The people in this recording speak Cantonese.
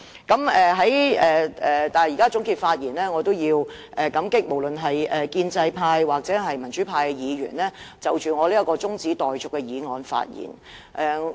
不過，在這刻的總結發言中，我也要感激建制派及民主派議員就我這項中止待續議案發言。